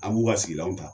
An b'u ka sigilanw ta